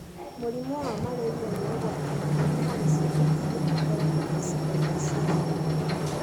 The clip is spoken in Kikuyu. Mũrimũ wa malaria nĩ ũgwati mũnene harĩ ciana iria ikoragwo icigo-inĩ cia riũa.